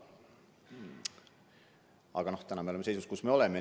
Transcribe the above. Aga täna me oleme selles seisus, kus me oleme.